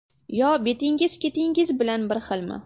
Yo betingiz ketingiz bilan bir xilmi?